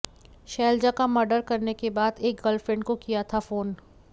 शैलजा का मर्डर करने के बाद एक गर्लफ्रेंड को किया था फोन